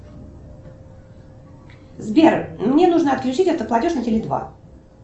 сбер мне нужно отключить автоплатеж на теле два